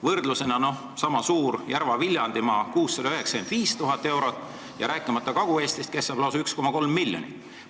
Võrdlusena nimetan, et sama suured Järva- ja Viljandimaa saavad 695 000 eurot, rääkimata Kagu-Eestist, kes saab lausa 1,3 miljonit.